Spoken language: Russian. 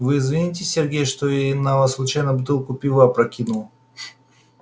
вы извините сергей что я на вас случайно бутылку пива опрокинула